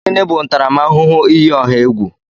Gịnị bụ ntaramahụhụ iyi ọha egwu?